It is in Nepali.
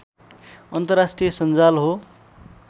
अन्तर्राष्ट्रिय संजाल हो